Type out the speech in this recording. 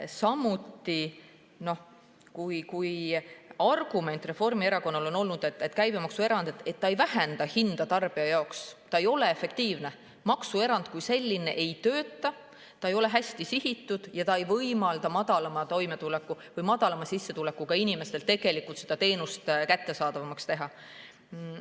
Samuti on Reformierakonna argument olnud, et käibemaksuerand ei vähenda hinda tarbija jaoks, ta ei ole efektiivne, maksuerand kui selline ei tööta, ta ei ole hästi sihitud ega võimalda madalama sissetulekuga inimestele teenust kättesaadavamaks teha.